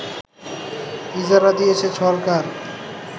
ইজারা দিয়েছে সরকার